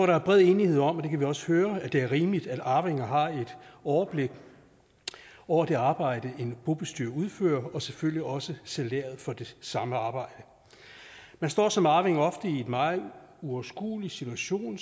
der er bred enighed om og det kan vi også høre at det er rimeligt at arvinger har et overblik over det arbejde en bobestyrer udfører og selvfølgelig også salæret for det samme arbejde man står som arving ofte i en meget uoverskuelig situation